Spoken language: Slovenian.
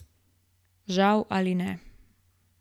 Žal ali ne.